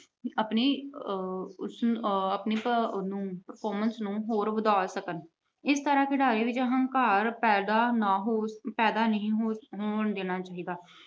ਆਪਣੀ ਆਹ ਉਸਨੂੰ ਆਹ performance ਨੂੰ ਹੋਰ ਵਧਾ ਸਕਣ। ਇਸ ਤਰ੍ਹਾਂ ਖਿਡਾਰੀਆਂ ਵਿੱਚ ਹੰਕਾਰ ਪੈਦਾ ਨਾ ਅਹ ਨਹੀਂ ਹੋਣ ਦੇਣਾ ਚਾਹੀਦਾ।